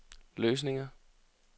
løsninger